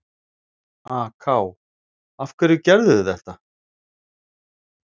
AK: Af hverju gerðuð þið þetta?